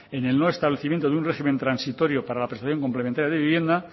en el no establecimiento de un régimen transitorio para la prestación complementaria de vivienda